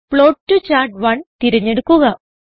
plot to chart തിരഞ്ഞെടുക്കുക